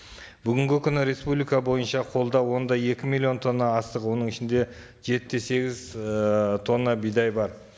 бүгінгі күні республика бойынша қолдау он да екі миллион тонна астық оның ішінде жеті де сегіз ыыы тонна бидай бар